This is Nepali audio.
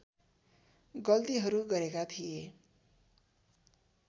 गल्तीहरू गरेका थिए